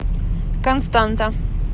константа